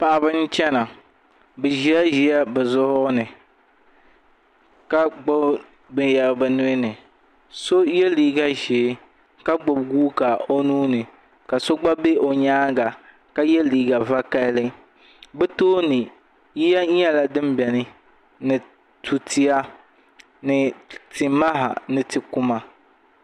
Paɣiba n chɛna bi zi la ziya bi zuɣuri ni ka gbubi binyɛra bi nuhi ni so yiɛ liiga zɛɛ ka gbubi guuka o nuu ni ka so gba bɛ o yɛanga ka yiɛ liiga vakahali bi tooni yiya yɛla dini bɛni ni tuua ni ti mah ni ti kuma.